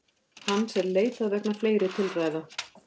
Hans er leitað vegna fleiri tilræða